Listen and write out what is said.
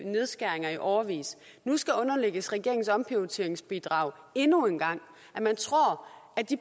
nedskæringer i årevis og nu skal underlægges regeringens omprioriteringsbidrag endnu en gang